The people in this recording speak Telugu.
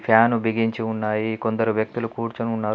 ఫ్యాను బిగించి ఉన్నాయి కొందరు వ్యక్తులు కూర్చొని ఉన్నారు.